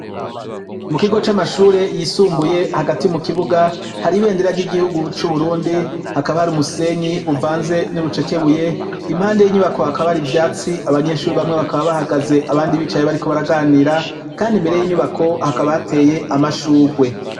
Mu kigo c'amashure yisumbuye hagati mu kibuga hari ibendera ry'igihugu c'uburundi hakaba hari umusenyi uvanze n'urucekebuye impande y'inyubako hakaba hari ivyatsi abanyeshuri bamwe bakaba bahagaze abandi bicaye bari kubaraganira kandi imbere y'inyubako hakaba hateye amashurwe.